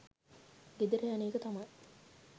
ගෙදර යන එක තමයි